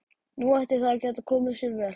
Nú ætti það að geta komið sér vel.